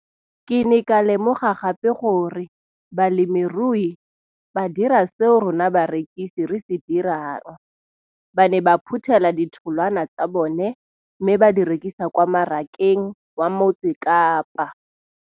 Ke ne ka lemoga gape gore balemirui ba dira seo rona barekisi re se dirang - ba ne ba phuthela ditholwana tsa bona mme ba di rekisa kwa marakeng wa Motsekapa.